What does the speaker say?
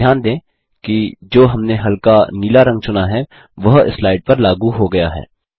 ध्यान दें कि जो हमने हल्का नीला रंग चुना है वह स्लाइड पर लागू हो गया है